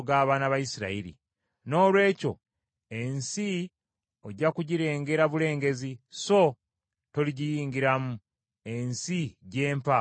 Noolwekyo ensi ojja kugirengera bulengezi, so toligiyingiramu, ensi gye mpa abaana ba Isirayiri.”